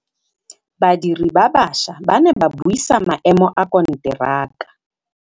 Badiri ba baša ba ne ba buisa maêmô a konteraka.